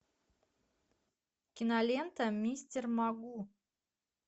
кинолента мистер могу